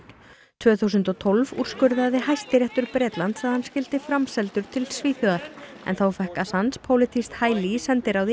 tvö þúsund og tólf úrskurðaði Hæstiréttur Bretlands að hann skyldi framseldur til Svíþjóðar en þá fékk pólitískt hæli í sendiráði